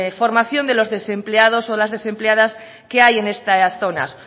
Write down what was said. formación de los desempleados o las desempleadas que hay en estas zonas